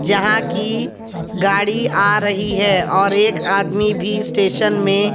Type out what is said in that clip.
जहां की गाड़ी आ रही है और एक आदमी भी स्टेशन में--